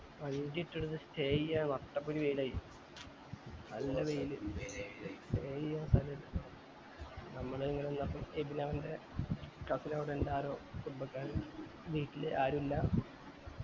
വണ്ടിട്ടേടത്ത് stay ചെയ്യ നട്ടപൊരി വെയിലായി നല്ല വെയിൽ stay ചെയ്യാൻ സ്ഥലം ഇല്ല നമ്മള് ഇങ്ങനെ ന്നിട്ട് എബിൻ അവന്റെ cousin ൻറെ cousin അവിടെ ഇണ്ട് ആരോ കുടുംബക്കാര് വീട്ടില് ആര് ഇല്ല